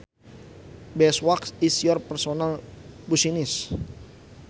Beeswax is your personal business